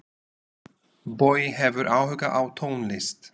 Bogi hefur áhuga á tónlist.